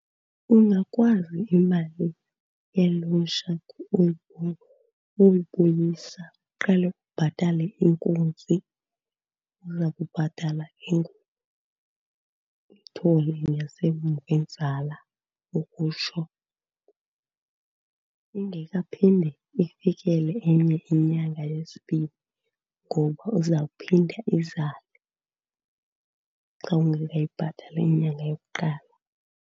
Ungakwazi imali ye-loan shark uyibuyisa. Uqale ubhatale inkunzi, uza kubhatala ke ngoku ithole ngasemva, inzala ukutsho, ingekaphinde ifikele enye inyanga yesibini. Ngoba izawuphinda izale xa ungekayibhatali inyanga yokuqala.